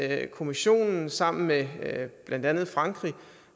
af at kommissionen sammen med blandt andet frankrig